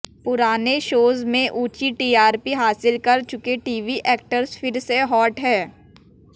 पुराने शोज में ऊंची टीआरपी हासिल कर चुके टीवी ऐक्टर्स फिर से हॉट हैं